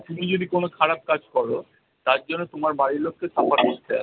তুমি যদি কোনো খারাপ কাজ করো তার জন্য তোমার বাড়ির লোকেও suffer করতে হবে।